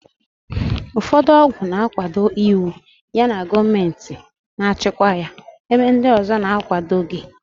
Ụfọdụ ọgwụ na-akwado iwu yana gọọmentị na-achịkwa ya, ebe ndị ọzọ na-akwadoghị.